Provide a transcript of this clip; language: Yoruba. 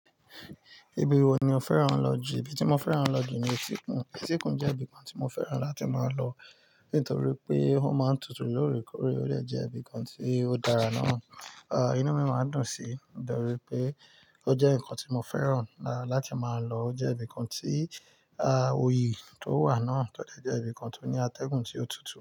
Ibi wo ni o fẹ́ran lọ jù? Ibi tí mo fẹ́ran lọ jù ni itíkun. Itíkun jẹ́ ibi kan tí mo fẹ́ran láti máa lọ nítorí pé ó máa ń tutù lóòrèkóòrè. Ó dẹ̀ jẹ́ ibi kan tí ó dára náà, a, inú mi máa dùn sí. Mo de ri pé ó jẹ́ nǹkan tí mo fẹ́ran láti máa lọ. Ó jẹ́ ibi kan tí oyì tó wà náà tó jẹ́ ibi kan tó ní atẹ́gùn tí ó tutù.